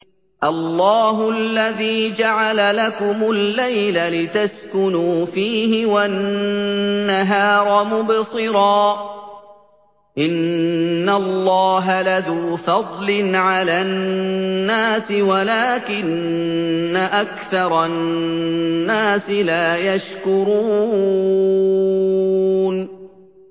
اللَّهُ الَّذِي جَعَلَ لَكُمُ اللَّيْلَ لِتَسْكُنُوا فِيهِ وَالنَّهَارَ مُبْصِرًا ۚ إِنَّ اللَّهَ لَذُو فَضْلٍ عَلَى النَّاسِ وَلَٰكِنَّ أَكْثَرَ النَّاسِ لَا يَشْكُرُونَ